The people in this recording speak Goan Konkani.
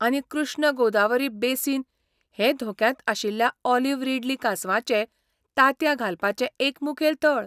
आनी कृष्ण गोदावरी बेसिन हें धोक्यांत आशिल्ल्या ऑलिव्ह रिडली कांसवांचें तांतयां घालपाचें एक मुखेल थळ.